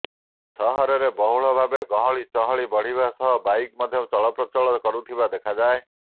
ସହରରେ ବହୁଳ ଭାବେ ଗହଳି ଚହଳି ବଢିବା ସହ ବାଇକ୍ ମଧ୍ୟ ଚଳପ୍ରଚଳ କରୁଥିବା ଦେଖାଯାଏ